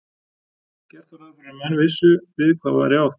Gert var ráð fyrir að menn vissu við hvað væri átt.